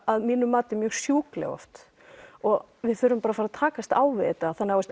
að mínu mati mjög sjúkleg oft og við þurfum bara að fara að takast á við þetta þannig að